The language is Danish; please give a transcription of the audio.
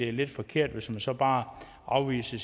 er lidt forkert hvis man så bare afviser